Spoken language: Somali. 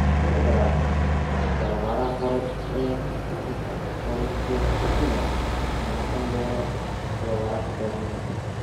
(Telegraph) Tababaraha hore ee Tottenham Mauricio Pochettino ma noqon doono tababaraha Bayern Munich.